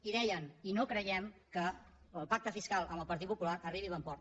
i deien i no creiem que el pacte fiscal amb el partit popular arribi a bon port